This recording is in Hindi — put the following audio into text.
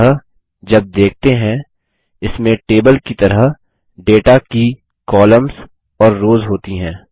अत जब देखते हैं इसमें टेबल की तरह डेटा की कॉलम्स और रोज़ होती हैं